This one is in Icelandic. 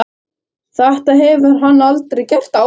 Þetta hefur hann aldrei gert áður.